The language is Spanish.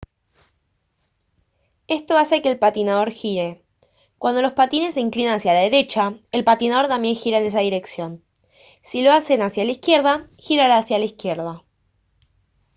esto hace que el patinador gire cuando los patines se inclinan hacia la derecha el patinador también gira en esa dirección si lo hacen hacia la izquierda girará hacia la izquierda